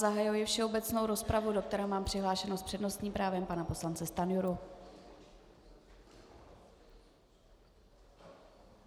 Zahajuji všeobecnou rozpravu, do které mám přihlášeného s přednostním právem pana poslance Stanjuru.